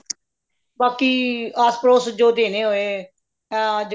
ਬਾਕੀ ਆਸ਼ ਪੜੋਸ਼ ਚ ਜੋ ਦੇਣੇ ਹੋਏ ਇਹ ਅੱਜ